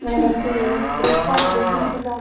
ଏଁ ସେ ବ୍ରେକଫାଷ୍ଟ ଦେସନ୍ ସେଟା।